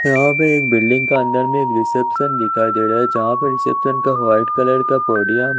यहाँ पर एक बिल्डिंग क अन्दर में एक रिसेप्शन दिखाई दे रहा है जहा पर रिसेप्शन का वाइट कलर का पोडियम --